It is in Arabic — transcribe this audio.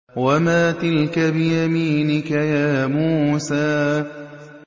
وَمَا تِلْكَ بِيَمِينِكَ يَا مُوسَىٰ